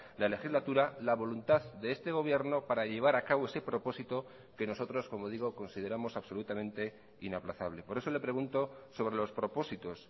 la legislatura la voluntad de este gobierno para llevar a cabo ese propósito que nosotros como digo consideramos absolutamente inaplazable por eso le pregunto sobre los propósitos